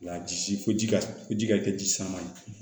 Nka ji ko ji ko ji ka kɛ ji sama ye